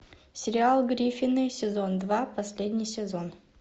сериал гриффины сезон два последний сезон